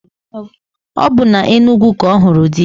Ọ bụ na Enugwu ka ọ hụrụ di ya